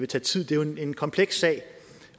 tage tid det er jo en kompleks sag